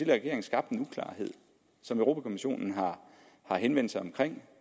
regering skabte en uklarhed som europa kommissionen har henvendt sig om